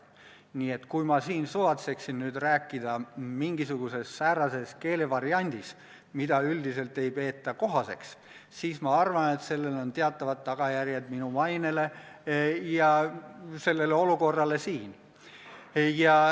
Nii et kui ma siin suvatseksin nüüd rääkida mingisuguses säärases keelevariandis, mida üldiselt ei peeta kohaseks, siis ma arvan, et sellel on teatavad tagajärjed minu mainele ja sellele olukorrale siin.